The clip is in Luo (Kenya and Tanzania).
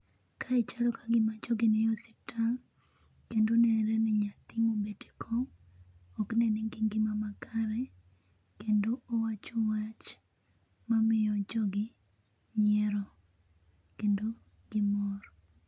kae chalo kagima jogi ni e osiptal kendo nenore ni nyathini obet ekom ok ni nigi ngima makare kendo owacho wach mamiyo jogi nyiero kendo gimor.